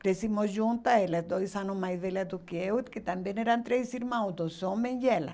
Crescemos juntas, elas dois anos mais velhas do que eu, que também eram três irmãos, dois homens e ela